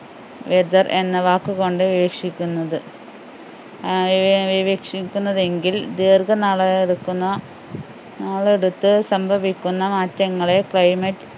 weather എന്ന വാക്ക് കൊണ്ട് വീവക്ഷിക്കുന്നത് ആഹ് വീവക്ഷിക്കുന്നതെങ്കിൽ ദീർഘനാളെടുക്കുന്ന നാളെടുത്ത് സംഭവിക്കുന്ന മാറ്റങ്ങളെ climate